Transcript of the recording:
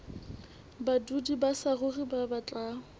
badudi ba saruri ba batlang